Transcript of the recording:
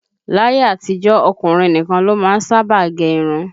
Láyé àtijó, ọkùnrin nìkan ló má ń sábà gẹ irun